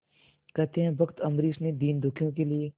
कहते हैं भक्त अम्बरीश ने दीनदुखियों के लिए